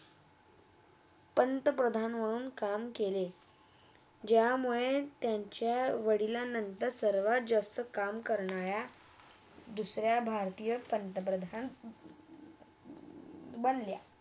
पंतप्रधान होन काम केले ज्यामुळे त्यांच्या वडिलांनंतर सर्व जगच काम करण्यारा दुसऱ्या भरतीया पंतप्रधान बनल्या